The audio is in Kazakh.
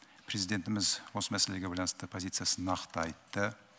президентіміз осы мәселеге байланысты позициясын нақты айтты